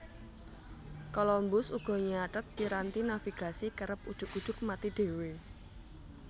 Columbus uga nyathet piranti navigasi kerep ujug ujug mati dhéwé